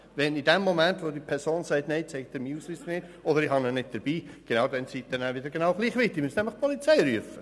Wenn die Person Nein sagt und ihren Ausweis nicht zeigt oder ihn nicht bei sich hat, sind sie wieder genau gleich weit.